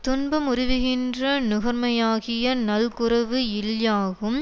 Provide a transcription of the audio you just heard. துன்பமுறுவிகின்ற நுகராமையாகிய நல்குரவு இல்யாகும்